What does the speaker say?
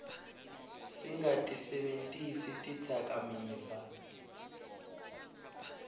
singatisebentisi tidzakamiva